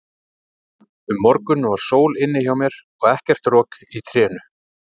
Um morguninn var sól inni hjá mér og ekkert rok í trénu.